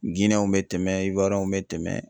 w bɛ tɛmɛ w bɛ tɛmɛ